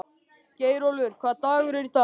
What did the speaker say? Geirólfur, hvaða dagur er í dag?